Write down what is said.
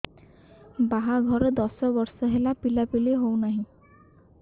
ବାହାଘର ଦଶ ବର୍ଷ ହେଲା ପିଲାପିଲି ହଉନାହି